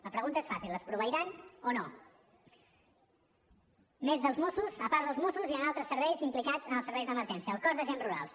la pregunta és fàcil les proveiran o no a més dels mossos a part dels mossos hi han altres serveis implicats en els serveis d’emergència el cos d’agents rurals